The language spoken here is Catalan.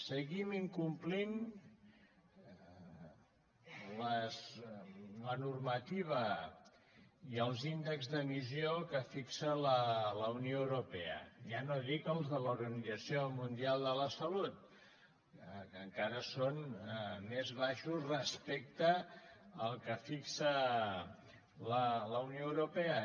seguim incomplint la normativa i els índexs d’emissió que fixa la unió europea ja no dic els de l’organització mundial de la salut que encara són més baixos respecte al que fixa la unió europea